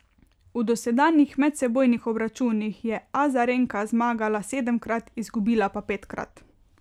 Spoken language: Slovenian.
V dosedanjih medsebojnih obračunih je Azarenka zmagala sedemkrat, izgubila pa petkrat.